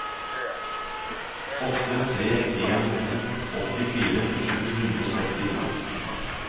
åtte tre en to åttifire sju hundre og sekstito